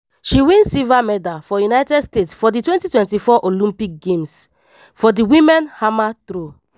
she win silver medal for united states for di 2024 olympic games for di women hammer throw.